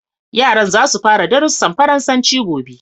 Yaran za su fara darussan Faransanci gobe.